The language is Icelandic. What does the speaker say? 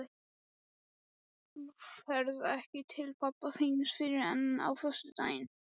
Þú ferð ekki til pabba þíns fyrr en á föstudaginn.